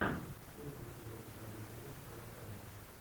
первый эпизод ави голд аватария